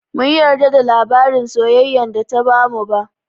Bamu yarda da labarin soyayyan da ta bamu ba